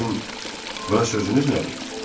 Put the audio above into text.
Sizin bu sözünüz nədir?